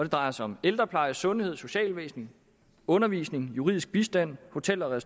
drejer sig om ældrepleje sundhed socialvæsen undervisning juridisk bistand hotel og